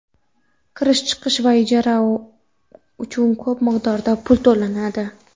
kirish-chiqish va ijara uchun ko‘p miqdorda pul to‘lanadi.